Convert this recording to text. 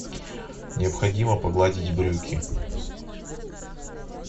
необходимо погладить брюки